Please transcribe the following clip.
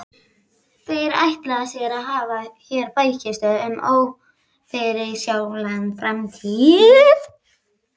Þeir ætla sér að hafa hér bækistöð um ófyrirsjáanlega framtíð!